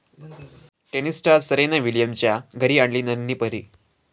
tennis star Serena विलियम्सच्या घरी आली नन्ही परी